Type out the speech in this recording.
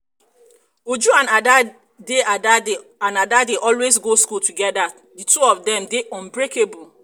uju and ada dey ada dey always go school together the two of dem dey unbreakable